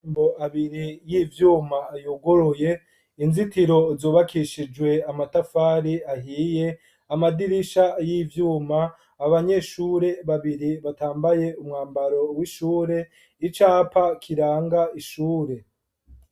Amarembo abiri y'ivyuma yuguruye, inzitiro zubakishijwe amatafari ahiye, amadirisha y'ivyuma, abanyeshure babiri batambaye umwambaro w'ishure, icapa kiranga ishure.